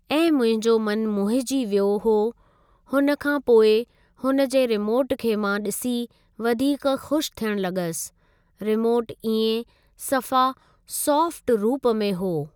ऐं मुंहिंजो मनु मोहिजी वियो हो हुन खां पोइ हुन जे रिमोट खे मां ॾिसी वधीक ख़ुशि थियण लॻसि रिमोट इएं सफ़ा सॉफ्ट रुप में हुओ।